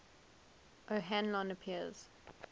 o hanlon appears